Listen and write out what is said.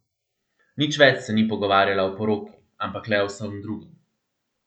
Nič več se ni pogovarjala o poroki, ampak le o vsem drugem.